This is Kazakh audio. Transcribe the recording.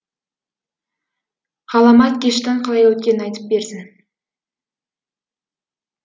ғаламат кештің қалай өткенін айтып берсін